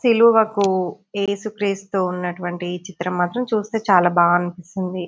సిలువకు ఏసుక్రీస్తు ఉన్నటువంటి ఈ చిత్రం మాత్రము చూస్తే చాలా బాగా అనిపిస్తుంది.